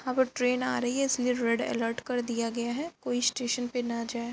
Train आ रही है इसलिए रेड अलर्ट कर दिया गया है कोई स्टेशन पे ना जाए।